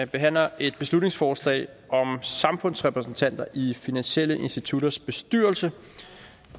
behandler et beslutningsforslag om samfundsrepræsentanter i finansielle institutters bestyrelse